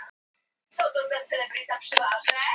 Eyborg, hversu margir dagar fram að næsta fríi?